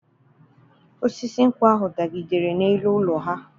Osisi nkwụ ahụ dagidere n'elu ụlọ ha.